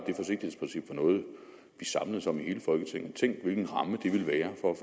noget vi samledes om i hele folketinget tænk hvilken ramme det ville være for